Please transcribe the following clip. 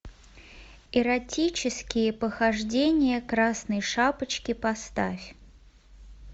эротические похождения красной шапочки поставь